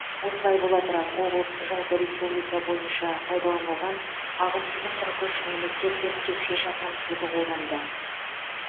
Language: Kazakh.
осылай бола тұра облыс жалпы республика бойынша пайдаланылған ағын судың қырық үш немесе төрт текше шақырым суды қолданды